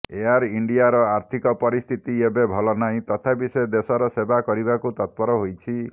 air ଇଣ୍ଡିଆର ଆର୍ଥିକ ପରିସ୍ଥିତି ଏବେ ଭଲ ନାହିଁ ତଥାପି ସେ ଦେଶର ସେବା କରିବାକୁ ତତ୍ପର ହୋଇଛି